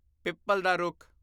people ਦਾ ਰੁੱਖ